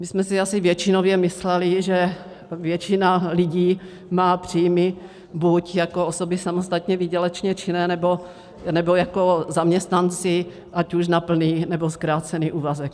My jsme si asi většinově mysleli, že většina lidí má příjmy buď jako osoby samostatně výdělečně činné, nebo jako zaměstnanci, ať už na plný, nebo zkrácený úvazek.